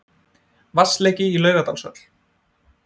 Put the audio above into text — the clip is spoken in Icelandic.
Vatnsleki í Laugardalshöll